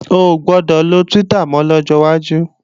Ò gbọdọ̀ lo Twitter mọ́ lọ́jọ́ wájú!